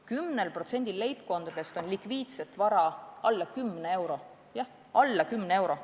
10%-l leibkondadest on likviidset vara alla 10 euro – jah, alla 10 euro!